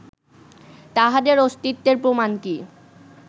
তাঁহাদের অস্তিত্বের প্রমাণ কি